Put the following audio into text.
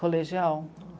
Colegial.